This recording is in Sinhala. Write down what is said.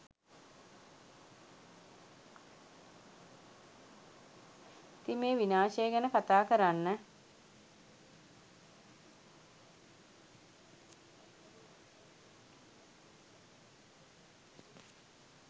ඉතින් මේ විනාශය ගැන කතා කරන්න